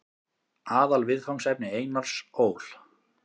Aðalviðfangsefni Einars Ól.